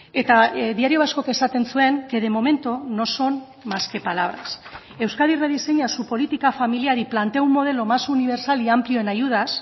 eta diario vascok esaten zuen que de momento no son más que palabras euskadi rediseña su política familiar y plantea un modelo más universal y amplio en ayudas